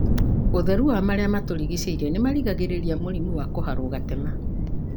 ũtheru wa marĩa matũrigicĩĩrie nĩ marigagĩrĩria mũrimũ wa kũharwo gatema.